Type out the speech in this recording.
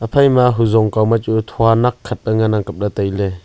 ephai ma huzong kao ma chu thua nak khat pe ngan ang kap ley tai ley.